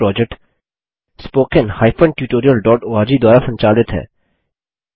यह project httpspoken tutorialorg द्वारा संचालित है